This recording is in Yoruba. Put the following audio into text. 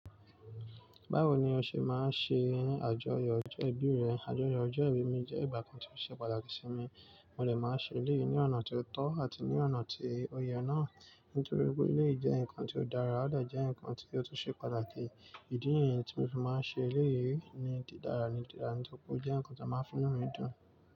Báwo ni o ṣe máa ń ṣe àjọyọ̀ ọjọ́ ìbí rẹ? Àjọyọ̀ ọjọ́ ìbí mi jẹ́ ìgbà kan tí ó ṣe pàtàkì sí mi, mo lè máa ṣe léyìí ní ọ̀nà tí ó tọ́ àti ní ọ̀nà tí ó yẹ náà. Nítorí pé léyìí jẹ́ nǹkan tí ó dára, ó dẹ̀ jẹ́ nǹkan tí ó tún ṣe pàtàkì. Ìdí nìyẹn tí mo fi máa ń ṣe léyìí ní di dára ní di dára, nítorí pé ó jẹ́ nǹkan tí a máa ń fúnni ní dùn.